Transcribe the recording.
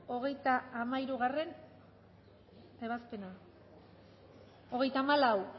hogeita hamairugarrena ebazpena hogeita hamalau